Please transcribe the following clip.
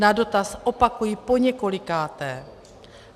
Na dotaz opakuji poněkolikáté.